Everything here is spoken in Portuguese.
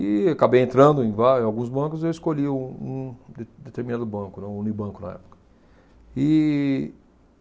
E acabei entrando em vai, em alguns bancos, e eu escolhi o um de determinado banco, né, Unibanco na época. E